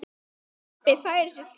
Pabbi færir sig fjær.